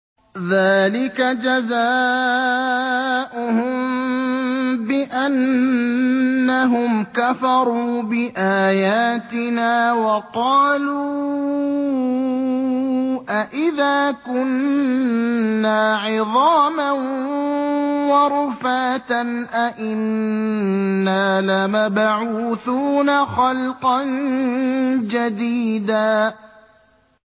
ذَٰلِكَ جَزَاؤُهُم بِأَنَّهُمْ كَفَرُوا بِآيَاتِنَا وَقَالُوا أَإِذَا كُنَّا عِظَامًا وَرُفَاتًا أَإِنَّا لَمَبْعُوثُونَ خَلْقًا جَدِيدًا